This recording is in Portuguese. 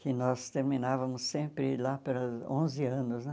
Que nós terminávamos sempre lá pelos onze anos, né?